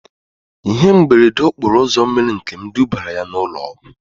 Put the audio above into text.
Ihe mberede okporo ụzọ mere Nkem dubara ya na ụlọ ọgwụ